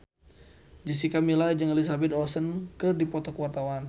Jessica Milla jeung Elizabeth Olsen keur dipoto ku wartawan